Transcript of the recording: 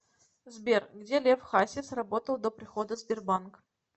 сбер где лев хасис работал до прихода в сбербанк